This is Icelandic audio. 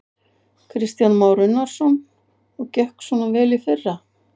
Kristján Már Unnarsson: Og gekk svona vel í fyrra?